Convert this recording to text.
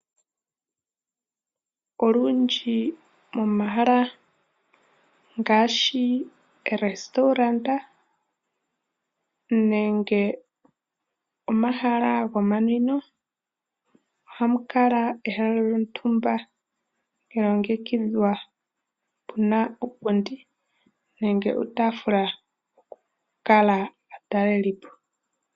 Olundji momahala ngaashi oorestaurant nenge omahala gomanwino, ohamu kala ehala lyontumba lya longekidhwa pu na uupundi nenge uutaafula oku kala aatalelipo.